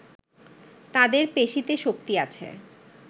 তাদের পেশিতে শক্তি আছে